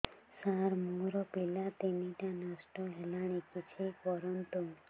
ସାର ମୋର ପିଲା ତିନିଟା ନଷ୍ଟ ହେଲାଣି କିଛି କରନ୍ତୁ